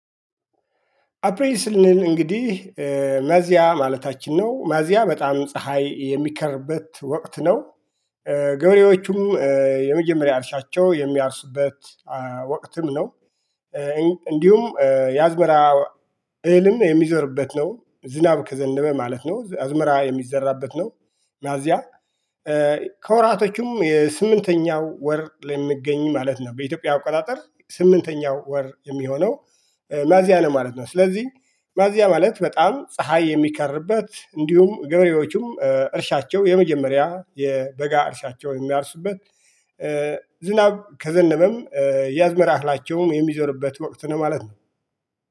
አፕሬል ስንል እንግዲህ ሚያዚያ ማለታችን ነው ሚያዚየ በጣም ፀሀይ የሚከርበት ወቅት ነው። ገብሬዎቹም የመጀመሪያ እርሻቸው የሚያርሱበት ወቅትም ነው። እንዲሁም የአዝመራ እህልም የሚዞርበት ነው ዝናብ ከዘነበ ማለት ነው አዝመራ የሚዘራበት ነው። ሚያዚያ ከወራቶቹም የስምንተኛው ወር ለሚገኝ ማለት ነው በኢትዮጵያ አቆጣጠር ስምንተኛው ወር የሚሆነው ማያዚያ ነው ማለት ነው። ስለዚህ ሚያዚየ ማለት በጣም ፀሀይ የሚከርበት እንዲሁም ገበሬዎቹም እርሻቸው የመጀመሪያ የበጋ እርሻቸውን የሚያርሱበት ዝናብ ከዘነበም የአዝመራ እህላቸውን የሚዘርሩበት ወቅት ነው ማለት ነው